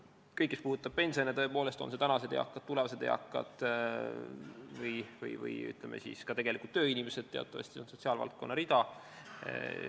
Kõik, mis puudutab pensione, on need siis tänaste eakate, tulevaste eakate või, ütleme, tööinimeste pensionid, on teatavasti sotsiaalvaldkonna rida.